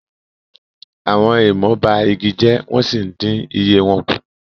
àwọn èèmọ ba igi jẹ wọn sìí ǹdin iye wọn ku